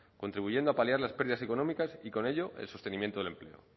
contribuyendo a paliar las pérdidas económicas y con ello el sostenimiento del empleo